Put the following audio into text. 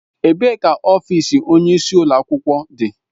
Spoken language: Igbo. Ebee ka ọfịs onye isi ụlọ akwụkwọ dị?